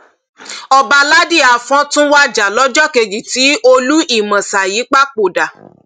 ọbaládì afọn tún wájà lọjọ kejì tí olú ìmasáyí papòdà